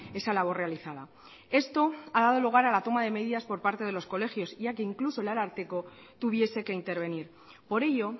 esa labor realizada esto ha dado lugar a la toma de medidas por parte de los colegios ya que incluso el ararteko tuviese que intervenir por ello